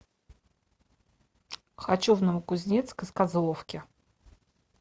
хочу в новокузнецк из козловки